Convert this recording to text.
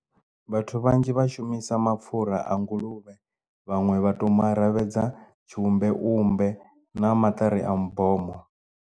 Vhathu vhanzhi vhashumisa mapfhura a nguluvhe vhaṅwe vha to mara ravhedza tshiumbe vhumbe na maṱari a mibomo.